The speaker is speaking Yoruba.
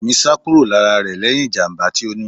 Ẹmi sá kúrò lára rẹ lẹhin ìjàmbá tí ó ní.